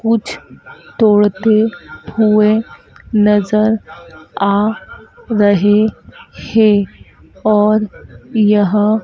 कुछ तोड़ते हुए नजर आ रहे है और यह--